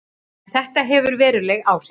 En þetta hefur veruleg áhrif.